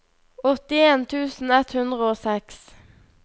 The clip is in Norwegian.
åttien tusen ett hundre og seks